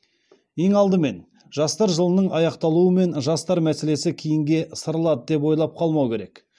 ең алдымен жастар жылының аяқталуымен жастар мәселесі кейінге ысырылады деп ойлап қалмау керек